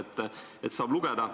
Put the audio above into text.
Seda saab sealt lugeda.